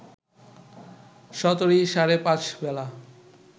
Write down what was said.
১৭ই সাড়ে পাঁচ বেলা